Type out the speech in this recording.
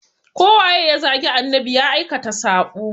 Ko waye ya zagi annabi ya aikata sabo.